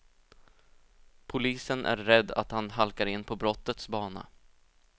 Polisen är rädd att han halkar in på brottets bana.